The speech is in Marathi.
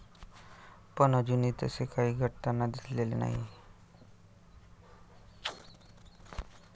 पण अजूनही तसे काही घडताना दिसलेले नाही.